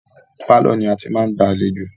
Pálọ̀ ni a ti ń gba àlejò.